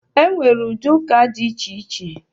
Enwere ụdị ụka dị iche iche